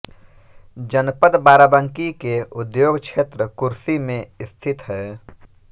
जनपद बाराबंकी के उद्योग क्षेत्र कुर्सी में स्थित है